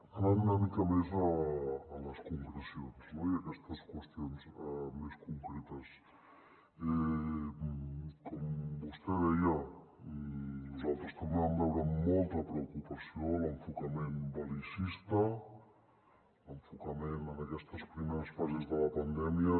anant una mica més a les concrecions no i a aquestes qüestions més concretes com vostè deia nosaltres també vam veure amb molta preocupació l’enfocament bel·licista l’enfocament en aquestes primeres fases de la pandèmia